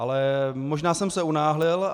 Ale možná jsem se unáhlil.